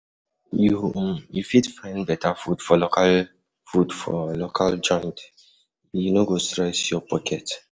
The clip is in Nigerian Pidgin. You fit find better food for local food for local joint, e um no go stress um your pocket.